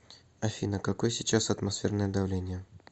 афина какой сейчас атмосферное давление